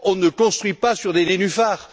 On ne construit pas sur des nénuphars!